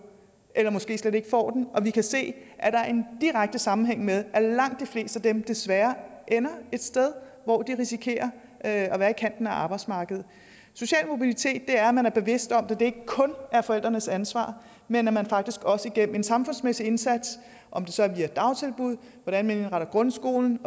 eller måske slet ikke får den og vi kan se at der er en direkte sammenhæng med at langt de fleste af dem desværre ender et sted hvor de risikerer at være i kanten af arbejdsmarkedet social mobilitet er at man er bevidst om at det ikke kun er forældrenes ansvar men at man faktisk også gennem en samfundsmæssig indsats om det så er via dagtilbud hvordan man indretter grundskolen